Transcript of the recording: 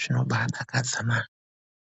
Zvinobaadakadza na